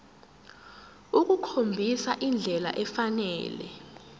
ukukhombisa indlela efanele